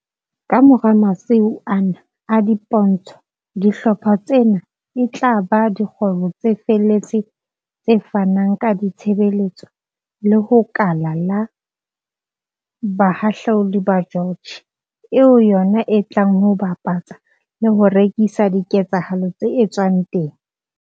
Kamora masiu ana a dipo ntsho, dihlopha tsena e tla ba dikgwebo tse felletseng tse fanang ka ditshebeletso ho le kala la Bohahludi ba George, eo yona e tlang ho bapatsa le ho rekisa diketsahalo tse etswang teng.